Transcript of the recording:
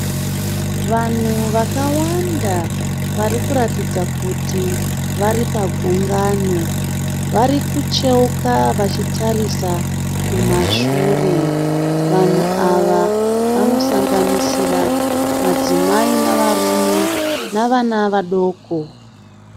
Vamhu vakawanda varikuratidza kuti vari pagungano. Varikucheuka vachitarisa kumashure. Vanhu ava vano sanganisira madzimai navarume navana vadoko.